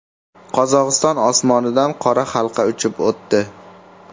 Qozog‘iston osmonidan qora halqa uchib o‘tdi .